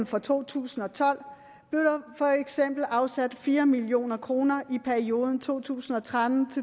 for to tusind og tolv blev der for eksempel afsat fire million kroner i perioden to tusind og tretten